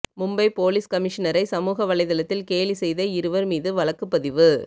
Mumbai police கமிஷனரை சமூக வலைதளத்தில் கேலி செய்தஇருவா் மீது வழக்குப் பதிவு